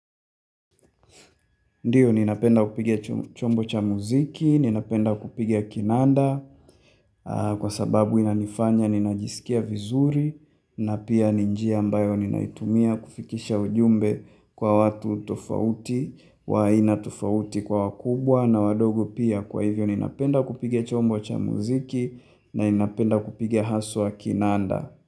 Ndiyo ninapenda kupiga chombo cha mziki, ninapenda kupiga kinanda kwa sababu inanifanya ninajisikia vizuri na pia ni njia ambayo ninaitumia kufikisha ujumbe kwa watu tofauti wa aina tofauti kwa wakubwa na wadogo pia kwa hivyo ninapenda kupiga chombo cha mziki na ninapenda kupige haswa kinanda.